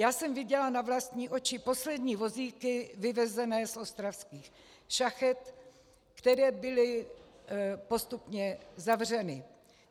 Já jsem viděla na vlastní oči poslední vozíky vyvezené z ostravských šachet, které byly postupně zavřeny.